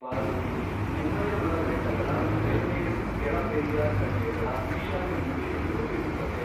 ಪಾರ್ವತಿಮುಡಿ, ಉಮಯಮಲ ಬೆಟ್ಟಗಳ ಬೆನ್ನೇಣು ಕೆಳ ಪೆರಿಯಾರ್ ಕಣಿವೆಗಳ ಈಶಾನ್ಯ ಮೂಲೆಯನ್ನು ರೂಪಿಸುತ್ತದೆ.